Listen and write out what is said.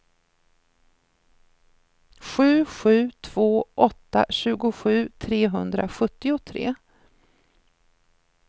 sju sju två åtta tjugosju trehundrasjuttiotre